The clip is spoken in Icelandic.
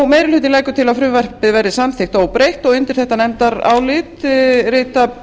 meiri hlutinn leggur til að frumvarpið verði samþykkt óbreytt og undir þetta nefndarálit rita